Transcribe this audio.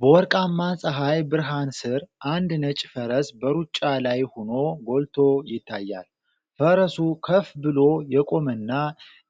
በወርቃማ ፀሐይ ብርሃን ስር አንድ ነጭ ፈረስ በሩጫ ላይ ሆኖ ጎልቶ ይታያል። ፈረሱ ከፍ ብሎ የቆመና